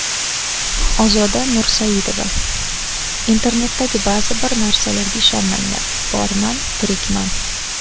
Ozoda Nursaidova: Internetdagi ba’zi bir narsalarga ishonmanglar, borman, tirikman.